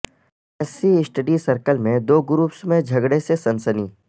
S C study circle میں دو groups میں جھگڑے سے سنسنی